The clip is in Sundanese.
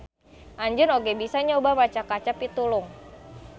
Anjeun oge bisa nyoba maca kaca pitulung.